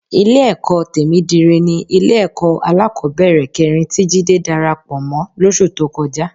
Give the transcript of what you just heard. Ilé-ẹ̀kọ́ Tèmídire ni Ilé-ẹ̀kọ́ alákọ̀ọ́bẹ̀rẹ̀ kẹrin tí Jídé darapọ̀ mọ́ lóṣù tó kọjá